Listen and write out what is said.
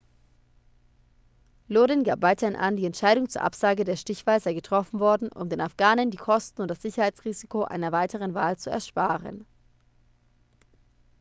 lodin gab weiterhin an die entscheidung zur absage der stichwahl sei getroffen worden um den afghanen die kosten und das sicherheitsrisiko einer weiteren wahl zu ersparen